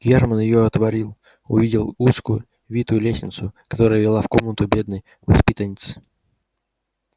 германн её отворил увидел узкую витую лестницу которая вела в комнату бедной воспитанницы